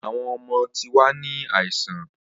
Awọn ọmọ ti wa ni aisan.